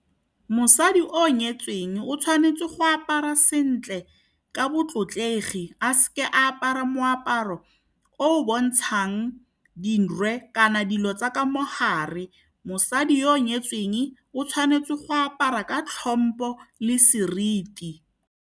Mosadi o nyetsweng o tshwanetse go apara sentle ka botlotlegi, a se ke a apara moaparo o o bontshang dirwe kana dilo tsa ka mogare. Mosadi yo o nyetsweng o tshwanetse go apara ka tlhompo le seriti.